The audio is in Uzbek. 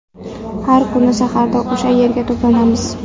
Har kuni saharda o‘sha yerga to‘planamiz.